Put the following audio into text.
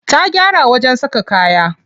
Ta gyara wajen saka kaya.